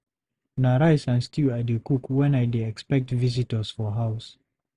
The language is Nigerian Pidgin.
Na rice and stew I dey cook when I dey expect visitors for house.